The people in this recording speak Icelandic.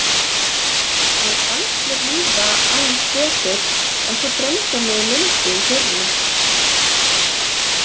Mér fannst mér líða aðeins betur en svo dreymdi mig Lindu í fyrrinótt.